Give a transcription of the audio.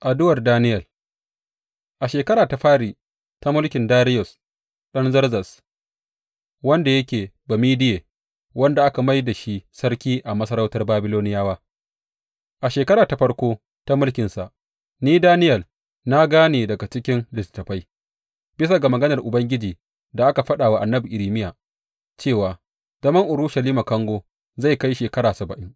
Addu’ar Daniyel A shekara ta fari da mulkin Dariyus ɗan Zerzes wanda yake Bamediye, wanda aka mai da shi sarki a masarautar Babiloniyawa a shekara ta farko ta mulkinsa, ni, Daniyel na gane daga cikin littattafai, bisa ga maganar Ubangiji da aka faɗa wa annabi Irmiya, cewa zaman Urushalima kango zai kai shekara saba’in.